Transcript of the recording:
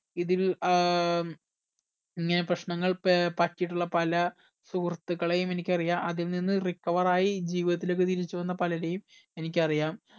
ഇതിൽ ഏർ ഇങ്ങന പ്രശ്നനങ്ങൾ ഏർ പറ്റിയിട്ടുള്ള പല സുഹൃത്തുക്കളെയും എനിക്ക് അറിയാം അതിൽ നിന്ന് recover ആയി ജീവിതത്തിലേക്ക് തിരിച്ചു വന്ന പലരേം എനിക്ക് അറിയാം